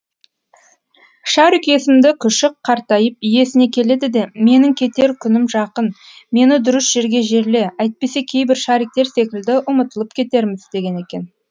шарик есімді күшік қартайып иесіне келеді де менің кетер күнім жақын мені дұрыс жерге жерле әйтпесе кейбір шариктер секілді ұмытылып кетерміз деген екен